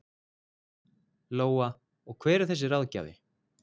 Lóa: Og hver er þessi ráðgjafi?